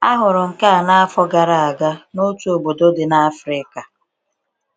A hụrụ nke a n’afọ gara aga n’otu obodo dị na Afrịka